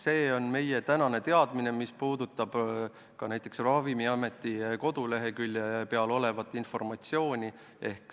See on meie tänane teadmine, mis puudutab ka näiteks Ravimiameti koduleheküljel olevat informatsiooni.